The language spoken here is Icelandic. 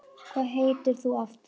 Hvað heitir þú aftur?